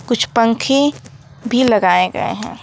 कुछ पंखे भी लगाए गए हैं।